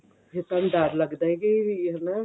ਵੀ ਆਪਾਂ ਨੂੰ ਡਰ ਲੱਗਦਾ ਕੇ ਹਨਾ